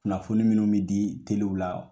Kunnafoni minnu bɛ di telew la.